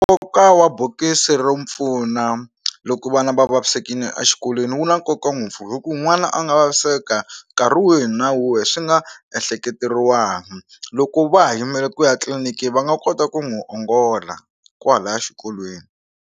Nkoka wa bokisi ro pfuna loko vana va vavisekile a xikolweni wu na nkoka ngopfu hi ku n'wana a nga vaviseka nkarhi wihi na wihi swi nga ehleketeriwanga loko va ha yimele ku ya tliliniki va nga kota ku n'wi ongola kwalaya xikolweni.